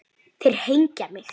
Þeir hengja mig?